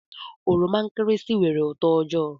Oroma nkịrịsị nwere uto ojoo.